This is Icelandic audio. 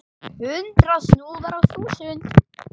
Hundrað snúðar á þúsund!